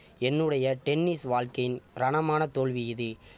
என்னுடைய டென்னிஸ் வாழ்க்கையின் ரணமான தோல்வி இது